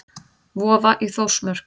Vofa í Þórsmörk.